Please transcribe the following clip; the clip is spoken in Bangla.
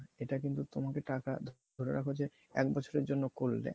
এটা কিন্তু তোমাকে টাকা ধরে রাখো যে এক বছরের জন্য করে দেয়